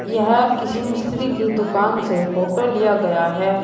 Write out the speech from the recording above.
यह किसी मिस्त्री की दुकान से फोटो लिया गया है।